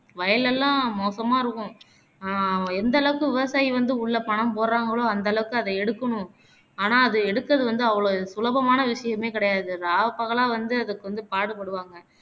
வயல்லலாம் மோசமா இருக்கும் அஹ் எந்த அளவுக்கு விவசாயி வந்து உள்ள பணம் போடுறாங்களோ அந்த அளவுக்கு அதை எடுக்கணும் ஆனா அதை எடுக்குறது வந்து அவ்வளோ சுலபமான விஷயமே கிடையாது இராப்பகலா வந்து அதுக்கு வந்து பாடுபடுவாங்க